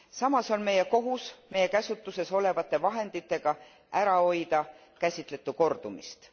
Samas on meie kohus meie käsutuses olevate vahenditega ära hoida käsitletu kordumist.